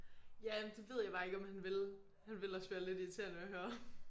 Ja men det ved jeg bare ikke om han ville. Han ville også være lidt irriterende at høre